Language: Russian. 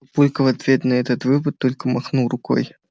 папулька в ответ на этот выпад только махнул рукой